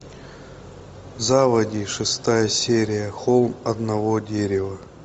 заводи шестая серия холм одного дерева